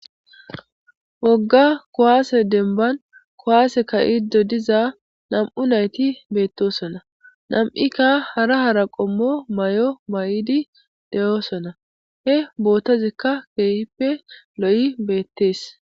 Wogga kowaase denban kowaase kayido diza nam7u nayti beettosonna nam7ikka hara hara qommo may7o may7idi de7oosona he bootazikka keehippe lo7i beettees